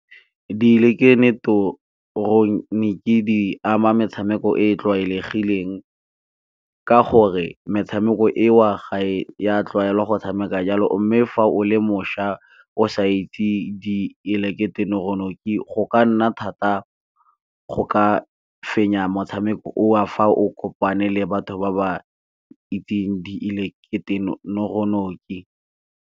Diileketeroniki di ama metshameko e e tlwaelegileng ka gore metshameko eo ga e a tlwaela go tshameka jalo. Mme fa o le mošwa o sa itse diileketeroniki go ka nna thata go ka fenya motshameko o of, fa o kopane le batho ba ba itseng .